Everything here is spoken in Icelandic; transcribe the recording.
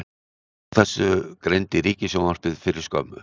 Frá þessu greindi Ríkissjónvarpið fyrir skömmu